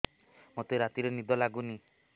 ମୋତେ ରାତିରେ ନିଦ ଲାଗୁନି